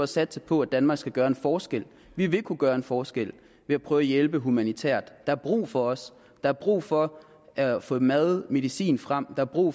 satse på at danmark skal gøre en forskel vi vil kunne gøre en forskel ved at prøve at hjælpe humanitært der er brug for os der er brug for at at få mad og medicin frem der er brug